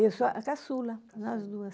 Eu sou a a caçula, nós duas.